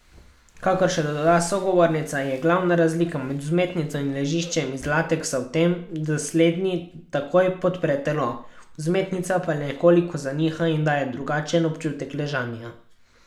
Kakor še doda sogovornica, je glavna razlika med vzmetnico in ležiščem iz lateksa v tem, da slednji takoj podpre telo, vzmetnica pa nekoliko zaniha in daje drugačen občutek ležanja.